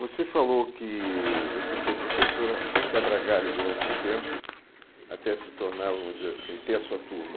Você falou que você foi professora quebra-galho durante um tempo até se tornar, vamos dizer assim, ter a sua turma.